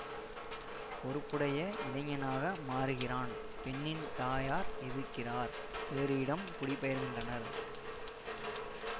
பொறுப்புடைய இளைஞனாக மாறுகிறான் பெண்ணின் தாயார் எதிர்க்கிறார் வேறு இடம் குடிபெயர்கின்றனர்